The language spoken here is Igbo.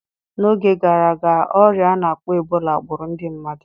N'oge gara aga, ọrịa a na-akpọ Ebola gburu ndị mmadu